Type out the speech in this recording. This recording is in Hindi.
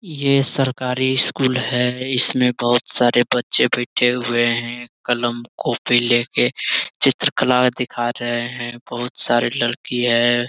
ये सरकारी स्कूल है इसमें बहुत सारे बच्चे बैठे हुए हैं कलम-कोपी लेके चित्रकला दिखा रहे हैं बहुत सारे लड़की है।